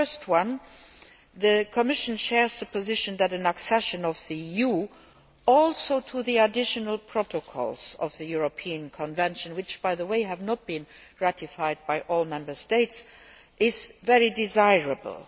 Firstly, the Commission shares the position that accession by the EU to the additional protocols of the European Convention which, by the way, have not been ratified by all Member States is also very desirable.